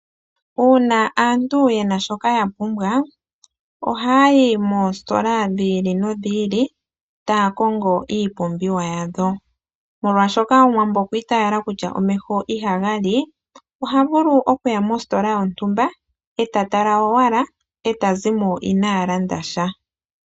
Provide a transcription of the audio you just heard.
Uuna aantu yena shoka ya pumbwa ohaya yi moositola dhi ili nodhi ili taya kongo iipumbiwa yawo. Molwaashoka omuwambo okwa itaala kutya omeho ihaga li, oha vulu okuya mositola yontumba eta tala owala eta zimo inaa landa sha.